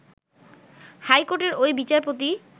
high কোর্টের ওই বিচারপতি